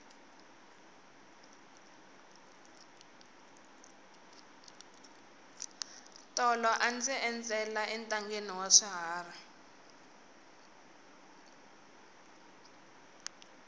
tolo a ndzi endzela entangheni wa swiharhi